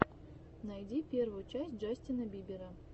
найди первую часть джастина бибера